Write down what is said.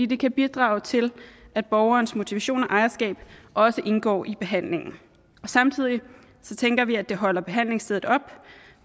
det kan bidrage til at borgerens motivation og ejerskab også indgår i behandlingen samtidig tænker vi at det holder behandlingsstedet op